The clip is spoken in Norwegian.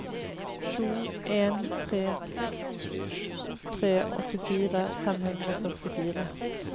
to en tre tre åttifire fem hundre og førtifire